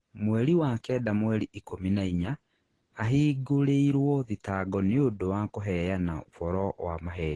Mweri wa kenda mweri ikumi na inya: Ahingurĩirwo thitangĩrũo nĩ ũndũ wa kũheana ũboro wa maheeni.